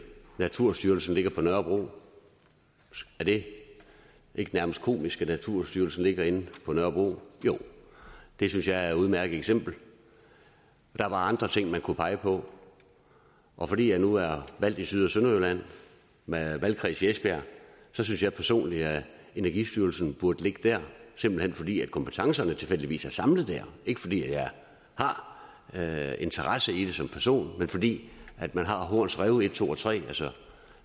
naturstyrelsen ligger på nørrebro er det ikke nærmest komisk at naturstyrelsen ligger inde på nørrebro jo det synes jeg er et udmærket eksempel der var andre ting man kunne pege på og fordi jeg nu er valgt i syd og sønderjylland med valgkreds i esbjerg synes jeg personligt at energistyrelsen burde ligge der simpelt hen fordi kompetencerne tilfældigvis er samlet der ikke fordi jeg har interesse i det som person men fordi man har horns rev en to og tre altså